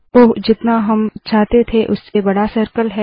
ओह जितना हम चाहते थे उससे बड़ा सर्कल है